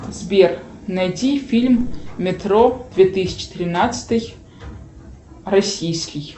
сбер найди фильм метро две тысячи тринадцатый российский